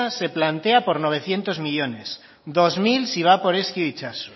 se plantean por novecientos millónes dos mil si van por ezkio itsaso